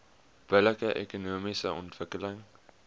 billike ekonomiese ontwikkeling